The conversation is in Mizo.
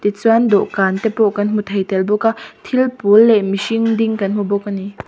tichuan dawhkan te pawh kan hmu tel thei bawk a thil pawl leh mihring ding kan hmu bawk a ni.